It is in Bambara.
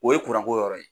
O ye ko yɔrɔ ye